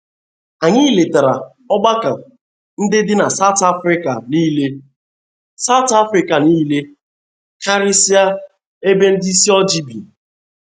Anyị letara ọgbakọ ndị dị na South Afrika nile South Afrika nile, karịsịa ebe ndị ịsị ojii bi.